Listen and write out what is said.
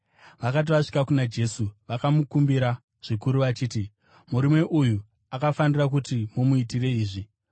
Vakati vasvika kuna Jesu, vakamukumbira zvikuru vachiti, “Murume uyu akafanira kuti mumuitire izvi,